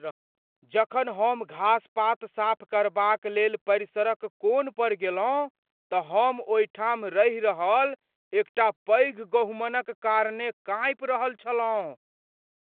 जखन हम घासपात साफ करबाक लेल परिसरक कोन पर गेलहुँ तऽ हम ओहिठाम रहि रहल एकटा पैघ गहुमनक कारणेँ काँपि रहल छलहुँ।